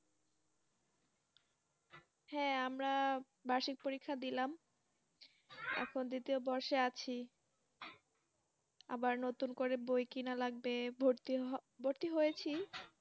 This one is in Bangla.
হ্যাঁ আমরা বার্ষিক পরীক্ষা দিলাম এখন দ্বিতীয় বর্ষে আছি আবার নতুন করে বই কিনা লাগবে ভর্তি হওয়া ভর্তি হয়েছি